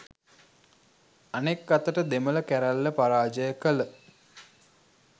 අනෙක් අතට දෙමළ කැරැල්ල පරාජය කළ